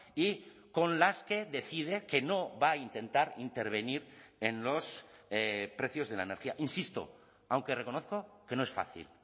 y con las que decide que no va a intentar intervenir en los precios de la energía insisto aunque reconozco que no es fácil